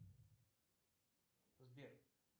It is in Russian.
сбер